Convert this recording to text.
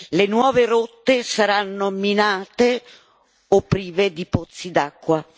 Le nuove rotte saranno minate o prive di pozzi d'acqua.